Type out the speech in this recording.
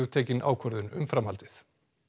tekin ákvörðun um framhaldið